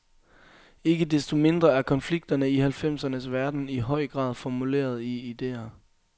Ikke desto mindre er konflikterne i halvfemsernes verden i høj grad formuleret i ideer.